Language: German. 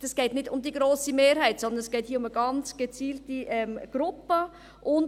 Es geht nicht um die grosse Mehrheit, sondern es geht hier um ganz gezielte Gruppen.